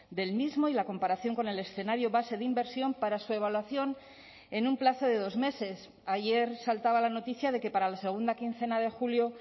del mismo y la comparación con el escenario base de inversión para su evaluación en un plazo de dos meses ayer saltaba la noticia de que para la segunda quincena de julio